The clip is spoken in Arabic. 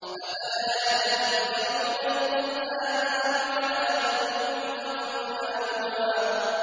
أَفَلَا يَتَدَبَّرُونَ الْقُرْآنَ أَمْ عَلَىٰ قُلُوبٍ أَقْفَالُهَا